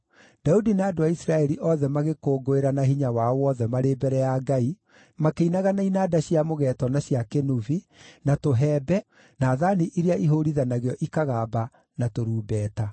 Daudi na andũ a Isiraeli othe magĩkũngũĩra na hinya wao wothe marĩ mbere ya Ngai, makĩinaga na inanda cia mũgeeto na cia kĩnũbi, na tũhembe, na thaani iria ihũũrithanagio ikagamba, na tũrumbeta.